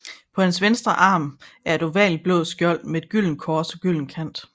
På hans venstre arm et ovalt blåt skjold med et gyldent kors og gylden kant